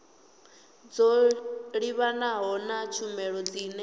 dzo livhanaho na tshumelo dzine